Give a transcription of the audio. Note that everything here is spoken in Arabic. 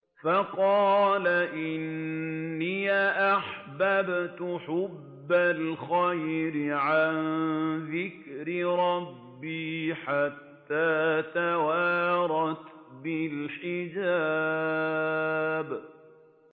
فَقَالَ إِنِّي أَحْبَبْتُ حُبَّ الْخَيْرِ عَن ذِكْرِ رَبِّي حَتَّىٰ تَوَارَتْ بِالْحِجَابِ